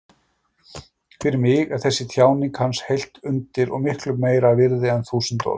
Fyrir mig er þessi tjáning hans heilt undur og miklu meira virði en þúsund orð.